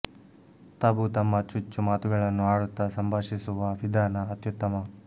ತಬು ತಮ್ಮ ಚುಚ್ಚು ಮಾತುಗಳನ್ನು ಆಡುತ್ತಾ ಸಂಭಾಷಿಸುವ ವಿಧಾನ ಅತ್ಯುತ್ತಮ